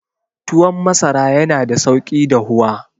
Tuwon masara yana da sauki dahuwa.